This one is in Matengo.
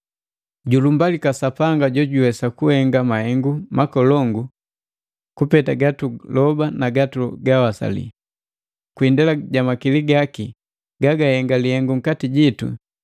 Julumbalika Sapanga jojuwesa kuhenga mahengu makolongu kupeta gatugaloba na gatugawasali. Kwi indela ja makili gaki gagahenga lihengu nkati jito,